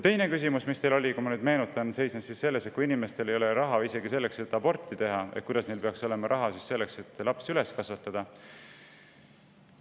Teine küsimus oli teil, kui ma nüüd meenutan, selle kohta, et kui inimestel ei ole raha isegi selleks, et aborti teha, siis kuidas peaks neil olema raha selleks, et laps üles kasvatada.